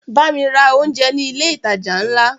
Bámi ra oúnjẹ ní ilé ìtajà ńlá!